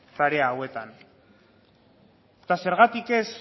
tarea hauetan eta zergatik ez